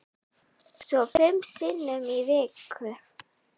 Svo fimm sinnum í viku.